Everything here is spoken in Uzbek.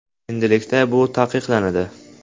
Endilikda bu taqiqlanadi.